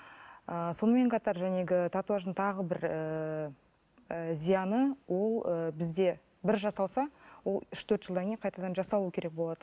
ыыы сонымен қатар татуаждың тағы бір ііі ы зияны ол ы бізде бір жасалса ол үш төрт жылдан кейін қайтадан жасалу керек болады